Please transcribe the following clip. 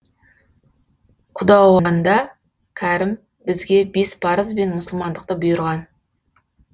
құдауанда кәрім бізге бес парыз бен мұсылмандықты бұйырған